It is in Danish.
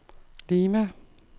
Lima